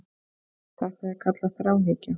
Þetta er kallað þráhyggja.